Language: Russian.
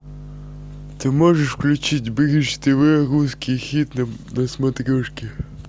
ты можешь включить бридж тв русский хит на смотрешке